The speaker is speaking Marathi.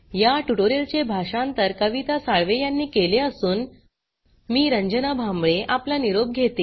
या ट्यूटोरियल चे भाषांतर कविता साळवे यांनी केले असून मी रंजना भांबळे आपला निरोप घेते